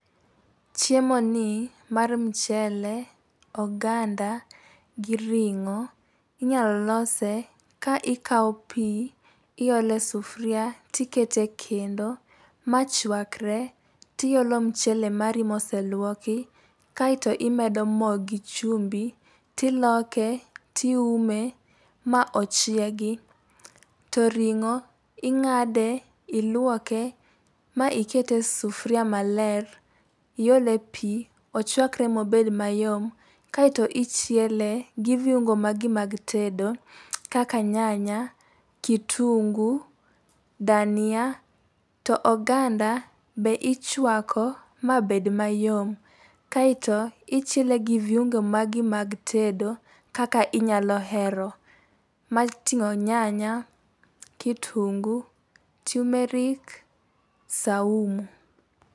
Chiemoni mar mchele, oganda gi ring'o, inyalo lose ka ikawo pii iole sufria, tikete kendo machwakre ,tiolo mchele mari moselwoki, kaito imedo moo gi chumbi, tiloke , tiume, ma ochiegi. To ring'o, ing'ade ,iluoke, ma ikete e sufria maler iole pii, ochwakre ma obed mayom, kaito ichiele gi viungo magi mag tedo kaka nyanya, kitunguu, dania. To oganda, be ichwako mabed mayom. Kaito ichiele gi viungo magi mag tedo kaka inyalo hero moting'o nyanya ,kitunguu, tumeric ,saumu.